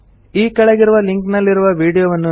ಕೆಳಗಿರುವ ಲಿಂಕ್ ನಲ್ಲಿರುವ ವೀಡಿಯೊವನ್ನು ನೋಡಿ